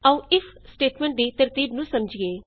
ਆਉ if statements ਦੀ ਤਰਤੀਬ ਨੂੰ ਸਮਝੀਏ